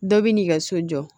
Dɔ bi n'i ka so jɔ